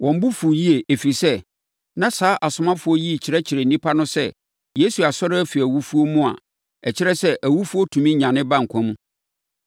Wɔn bo fuu yie, ɛfiri sɛ, na saa asomafoɔ yi rekyerɛkyerɛ nnipa no sɛ Yesu asɔre afiri owuo mu a ɛkyerɛ sɛ awufoɔ tumi nyane ba nkwa mu.